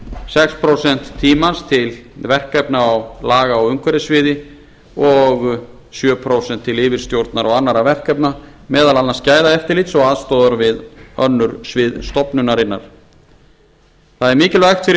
sex prósent tímans til verkefna á laga á umhverfissviði og sjö prósent til yfirstjórnar og annarra verkefna meðal annars gæðaeftirlits og aðstoðar við önnur svið stofnunarinnar það er mikilvægt fyrir